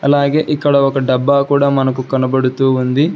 అలాగే ఇక్కడ ఒక డబ్బా కూడా మనకు కనబడుతూ ఉంది.